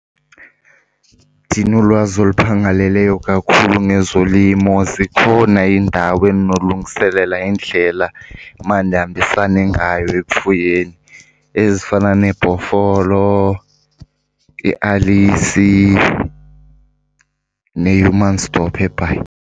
Ndinolwazi oluphangaleleyo kakhulu ngezolimo, zikhona iindawo endinolungiselela indlela emandihambisane ngayo ekufuyeni ezifana neBhofolo, iAlice neHumansdorp eBhayi.